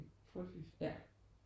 Frygteligt